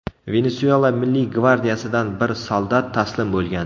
Venesuela milliy gvardiyasidan bir soldat taslim bo‘lgan.